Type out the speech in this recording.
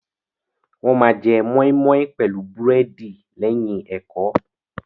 Wọ́n ma jẹ mọ́ímọ́í pẹ̀lú búrẹ́dì lẹ́yìn ẹ̀kọ́.